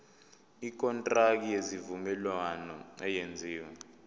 ikontraki yesivumelwano eyenziwe